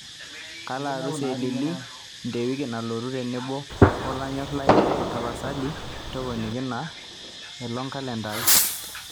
kalo arusi e lily nte wiki nalotu tenebo wolanyor lai tapasali toponiki ina olongbkalenda aai